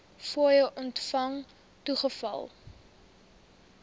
fooie ontvang toegeval